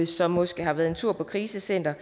som måske har været en tur på krisecenter